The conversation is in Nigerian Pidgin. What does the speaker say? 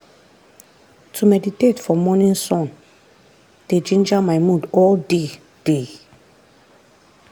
to meditate for morning sun dey ginger my mood all day. day.